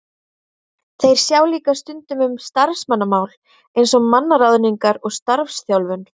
Þeir sjá líka stundum um starfsmannamál eins og mannaráðningar og starfsþjálfun.